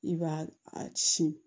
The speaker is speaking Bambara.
I b'a a sin